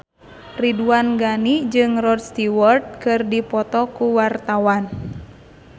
Ridwan Ghani jeung Rod Stewart keur dipoto ku wartawan